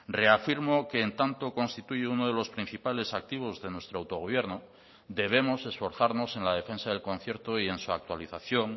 reafirmo que en tanto constituye uno de los principales activos de nuestro autogobierno debemos esforzarnos en la defensa del concierto y en su actualización